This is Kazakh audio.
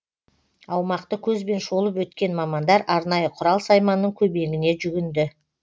аумақты көзбен шолып өткен мамандар арнайы құрал сайманның көмегіне жүгінді